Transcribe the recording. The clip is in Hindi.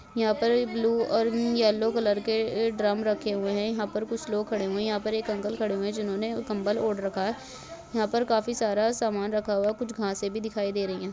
यह पर बलू और यल्लो कलर के ड्रम रखे हुए है यहां पर कुछ लोग खड़े हुए है यहाँ पर एक अंकल खड़े हुए है जिन्होंने कम्मल ओड़ रखा है यहाँ पर काफ़ी सारा सामान रखा हुआ है कुछ घासे भी दिखाई दे रही है।